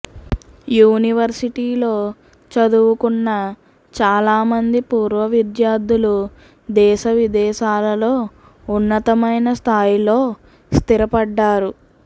యూనివర్సిటీలో చదువుకున్న చాలా మంది పూర్వ విద్యార్థులు దేశ విదేశాలలో ఉన్నతమైన స్థాయిలో స్థిరపడ్డారు